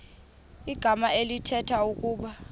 igama elithetha ukuba